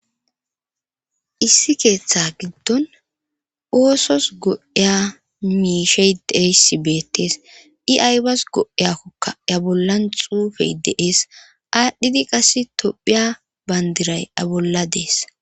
issi keeththa giddon oosos go7iya miishey deeyssi beettees i aybas go7iyakkokka ya bollan xuufey deees aadhdhidi qass tophiya bayndiray a bolla dees